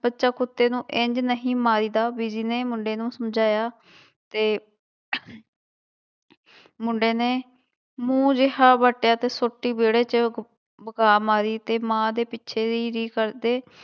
ਬੱਚਾ ਕੁੱਤੇ ਨੂੰ ਇੰਞ ਨਹੀਂ ਮਾਰੀਦਾ, ਬੀਜੀ ਨੇ ਮੁੰਡੇ ਨੂੰ ਸਮਝਾਇਆ ਤੇ ਮੁੰਡੇ ਨੇ ਮੂੰਹ ਜਿਹਾ ਵੱਟਿਆ ਤੇ ਸੋਟੀ ਵਿਹੜੇ ਚ ਵਗਾ ਮਾਰੀ ਤੇ ਮਾਂ ਦੇ ਪਿੱਛੇ ਰੀ ਰੀ ਕਰਦੇ